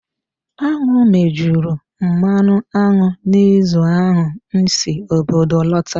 Aṅụ mejuru mmanụ aṅụ n'izu ahụ m si obodo lota.